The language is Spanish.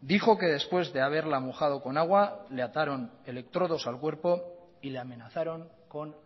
dijo que después de haberla mojado con agua le ataron electrodos al cuerpo y la amenazaron con